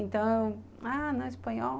Então, ah, não espanhol.